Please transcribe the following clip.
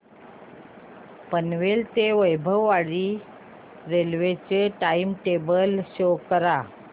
पनवेल ते वैभववाडी रेल्वे चे time table show करा